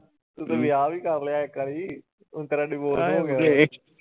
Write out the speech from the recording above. ਤੁੰ ਤੇ ਵਿਆਹ ਵੀ ਕਰ ਲਿਆ ਇੱਕ ਵਾਰੀ ਹੁਣ ਤੇਰਾ divorce ਹੋਗਿਆ।